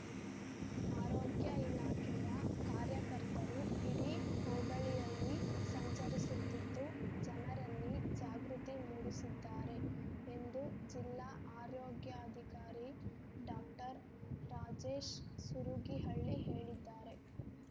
ಆರೋಗ್ಯ ಇಲಾಖೆಯ ಕಾರ್ಯಕರ್ತರು ಇಡೀ ಹೋಬಳಿಯಲ್ಲಿ ಸಂಚರಿಸುತ್ತಿದ್ದು ಜನರಲ್ಲಿ ಜಾಗೃತಿ ಮೂಡಿಸುತ್ತಿದ್ದಾರೆ ಎಂದು ಜಿಲ್ಲಾ ಆರೋಗ್ಯಾಧಿಕಾರಿ ಡಾಕ್ಟರ್ ರಾಜೇಶ್‌ ಸುರಗಿಹಳ್ಳಿ ಹೇಳಿದ್ದಾರೆ